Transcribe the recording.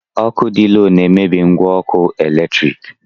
Ọkụ dị lo na-emebi ngwa ọkụ eletrik.